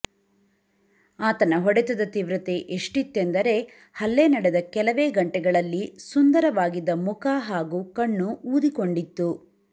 ಆತನ ಹೊಡೆತದ ತೀವ್ರತೆ ಎಷ್ಟಿತ್ತೆಂದರೆ ಹಲ್ಲೆ ನಡೆದ ಕೆಲವೇ ಗಂಟೆಗಳಲ್ಲಿ ಸುಂದರವಾಗಿದ್ದ ಮುಖ ಹಾಗೂ ಕಣ್ಣು ಊದಿಕೊಂಡಿತ್ತು